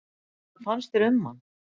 Hvað fannst þér um hann?